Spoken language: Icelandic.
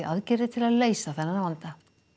aðgerðir til að leysa vandann